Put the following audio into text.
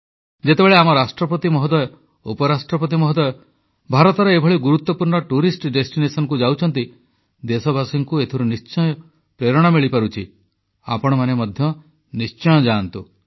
ଯେତେବେଳେ ଆମ ରାଷ୍ଟ୍ରପତି ମହୋଦୟ ଉପରାଷ୍ଟ୍ରପତି ମହୋଦୟ ଭାରତର ଏଭଳି ଗୁରୁତ୍ୱପୂର୍ଣ୍ଣ ପର୍ଯ୍ୟଟନ ସ୍ଥଳୀ ଯାଉଛନ୍ତି ଦେଶବାସୀଙ୍କୁ ଏଥିରୁ ନିଶ୍ଚିନ୍ତ ପ୍ରେରଣା ମିଳିପାରୁଛି ଆପଣମାନେ ମଧ୍ୟ ନିଶ୍ଚୟ ଯାଆନ୍ତୁ